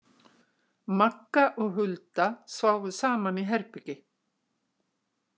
Magga og Hulda sváfu saman í herbergi.